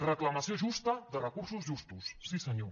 reclamació justa de recursos justos sí senyor